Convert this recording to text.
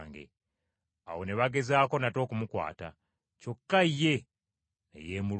Awo ne bagezaako nate okumukwata, kyokka ne yeemulula.